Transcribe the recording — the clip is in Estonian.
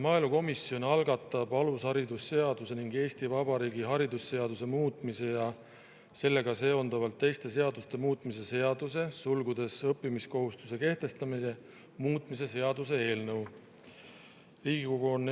Maaelukomisjon algatab alusharidusseaduse ning Eesti Vabariigi haridusseaduse muutmise ja sellega seonduvalt teiste seaduste muutmise seaduse muutmise seaduse eelnõu.